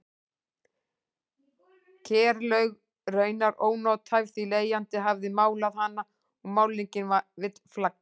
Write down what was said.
Kerlaug raunar ónothæf því leigjandi hafði málað hana og málningin vill flagna.